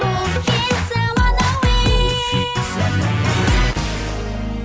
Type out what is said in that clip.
бұл хит заманауи